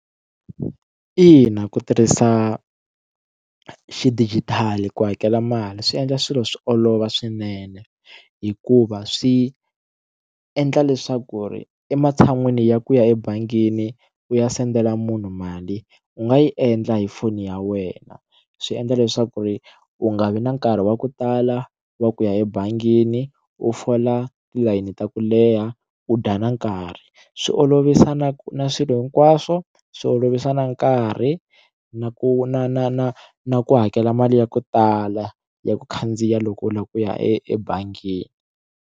Ina, ku tirhisa xidijithali ku hakela mali swi endla swilo swi olova swinene hikuva swi endla leswaku ri ematshan'wini ya ku ya ebangini u ya sendela munhu mali u nga yi endla hi foni ya wena swi endla leswaku ri u nga vi na nkarhi wa ku tala wa ku ya ebangini u fola tilayini ta ku leha u dya na nkarhi swi olovisa na ku na swilo hinkwaswo swi olovisa na nkarhi na ku na na na na ku hakela mali ya ko tala ya ku khandziya loko u lava ku ya ebangini.